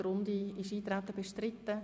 Ist das Eintreten bestritten?